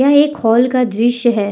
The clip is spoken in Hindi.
यह एक हॉल का दृश्य है।